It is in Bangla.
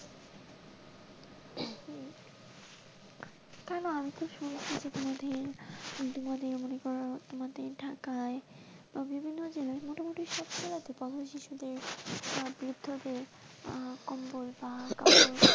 কেন আমি তো শুনেছি তোমাদের তোমাদের মনে কর তোমাদের ঢাকায় বা বিভিন্ন জেলায় মোটামুটি সব জেলাতেই পথ শিশুদের বা বৃদ্ধদের আহ কম্বল বা,